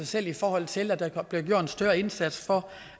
selv i forhold til at der bliver gjort en større indsats for